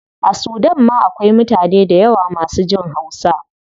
A sudan ma akwai mutane dayawa masu jin hausa